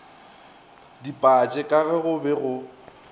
dipatše ka ge go be